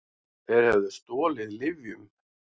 Þeir höfðu stolið lyfjum.